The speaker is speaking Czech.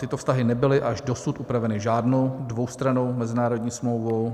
Tyto vztahy nebyly až dosud upraveny žádnou dvoustrannou mezinárodní smlouvou.